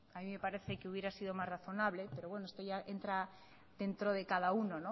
a mí me parece que hubiera sido más razonable pero bueno esto ya entra dentro de cada uno